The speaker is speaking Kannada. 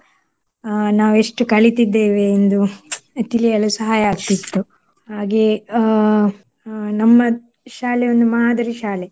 ಅಹ್ ನಾವು ಎಷ್ಟು ಕಲಿತಿದ್ದೇವೆ ಎಂದು ತಿಳಿಯಲು ಸಹಾಯ ಆಗ್ತಿತ್ತು. ಹಾಗೆ ಅಹ್ ಅಹ್ ನಮ್ಮ ಶಾಲೆ ಒಂದು ಮಾದರಿ ಶಾಲೆ